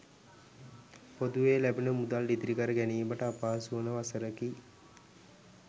පොදුවේ ලැබෙන මුදල් ඉතිරිකර ගැනිමට අපහසු වන වසරකි.